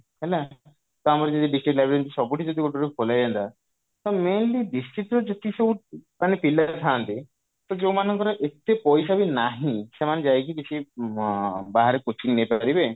ହେଲା ତ ଆମର ଯେମିତି district library ସବୁଠି ଯଦି ଗୋଟେ ଗୋଟେ ଖୋଲା ହେଇଯାଆନ୍ତା ତ mainly district ର ଯେତିକି ସବୁ ମାନେ ପିଲା ଥାଆନ୍ତି ତ ଯଉ ମାନଙ୍କର ଏତେ ପଇସା ବି ନାହିଁ ସେମାନେ ଯାଇକି କିଛି ଅ ବାହାରେ coaching ନେଇପାରିବେ